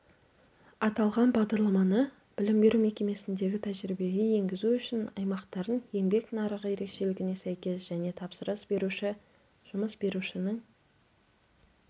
аталған бағдарламаны білім беру мекемесіндегі тәжірибеге енгізу үшін аймақтардың еңбек нарығы ерекшелігіне сәйкес және тапсырыс беруші-жұмыс берушінің